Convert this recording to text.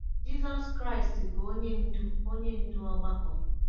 Jizọs Kraịst bụ onye ndú onye ndú ọgbakọ.